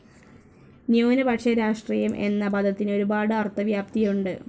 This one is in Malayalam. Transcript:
ന്യൂനപക്ഷ രാഷ്ട്രീയം എന്ന പദത്തിന് ഒരുപാട് അർത്ഥവ്യാപ്തിയുണ്ട്.